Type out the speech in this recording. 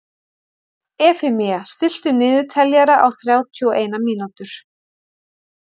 Efemía, stilltu niðurteljara á þrjátíu og eina mínútur.